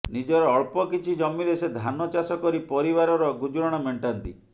ନିଜର ଅଳ୍ପ କିଛି ଜମିରେ ସେ ଧାନ ଚାଷ କରି ପରିବାରର ଗୁଜୁରାଣ ମେଣ୍ଟାନ୍ତି